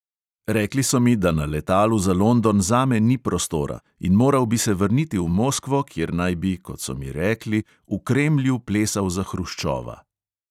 Rekli so mi, da na letalu za london zame ni prostora, in moral bi se vrniti v moskvo, kjer naj bi, kot so mi rekli, v kremlju plesal za hruščova.